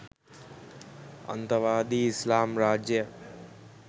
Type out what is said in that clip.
අන්තවාදී ඉස්ලාම් රාජ්‍යයක්